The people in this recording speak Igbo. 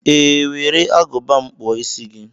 Ee were Agụba m kpụọ isi gị.